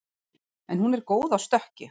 En hún er góð á stökki